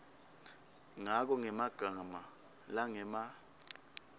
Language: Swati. ngako ngemagama langema